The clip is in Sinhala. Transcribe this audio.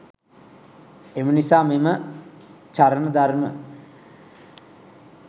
එම නිසා මෙම චරණ ධර්ම